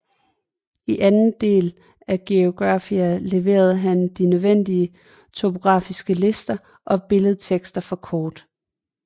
I anden del af Geographia leverede han de nødvendige topografiske lister og billedtekster for kort